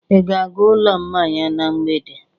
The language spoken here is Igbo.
Ị ga-aga ụlọ mmanya na mgbede?